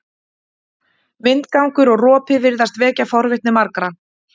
Vindgangur og ropi virðast vekja forvitni margra.